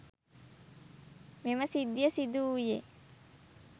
මෙම සිද්ධිය සිදු වූයේ